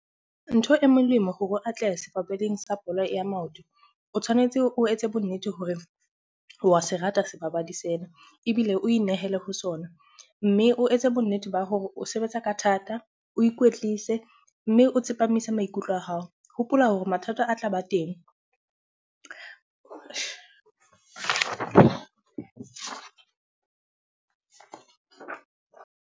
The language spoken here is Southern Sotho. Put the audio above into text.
Ntho e molemo hore o atlehe sebapading sa bolo ya maoto. O tshwanetse o etse bonnete hore wa se rata sebapadi sena, ebile o inehele ho sona. Mme o etse bonnete ba hore o sebetsa ka thata, o ikwetlise mme o tsepamise maikutlo a hao. Hopola hore mathata a tlaba teng.